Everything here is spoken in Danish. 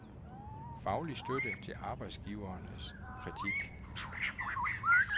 Faglig støtte til arbejdsgivernes kritik.